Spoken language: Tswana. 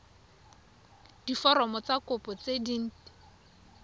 diforomo tsa kopo tse dint